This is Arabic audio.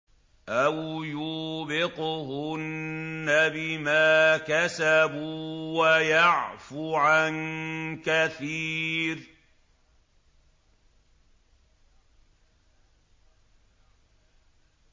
أَوْ يُوبِقْهُنَّ بِمَا كَسَبُوا وَيَعْفُ عَن كَثِيرٍ